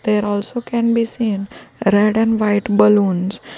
There also can be seen red and white balloons.